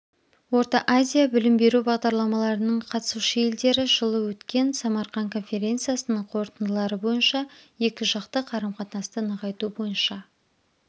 орта-азия білім беру бағдарламаларының қатысушы елдері жылы өткен самарқан конференциясының қорытындылары бойынша екі жақты қарым-қатынасты нығайту бойынша